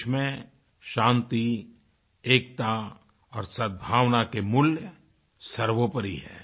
देश में शांति एकता और सदभावना के मूल्य सर्वोपरि हैं